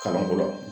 Kalanko la